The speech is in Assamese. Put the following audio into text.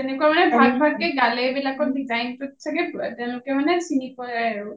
তেনেকুৱা মানে ভাগ ভাগ কে গালে বিলাকত design টোত চাগে তেওঁলোকে মানে চিনি পাই আৰু